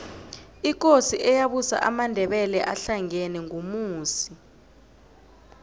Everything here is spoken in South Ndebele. ikosi eyabusa amandebele ahlangena ngumusi